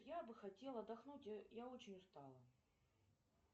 я бы хотела отдохнуть я очень устала